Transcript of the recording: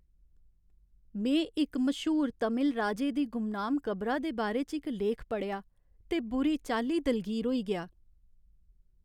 में इक मश्हूर तमिल राजे दी गुमनाम कबरा दे बारे च इक लेख पढ़ेआ ते बुरी चाल्ली दलगीर होई गेआ।